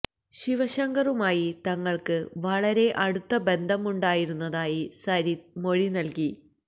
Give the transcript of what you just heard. ശിവശങ്കറുമായി തങ്ങൾക്ക് വളരെ അടുത്ത ബന്ധമുണ്ടായിരുന്നതായി സരിത് മൊഴി നൽകി